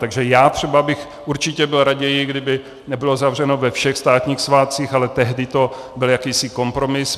Takže já třeba bych určitě byl raději, kdyby nebylo zavřeno ve všech státních svátcích, ale tehdy to byl jakýsi kompromis.